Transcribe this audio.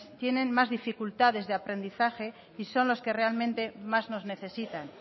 tienen más dificultades de aprendizaje y son los que realmente más nos necesitan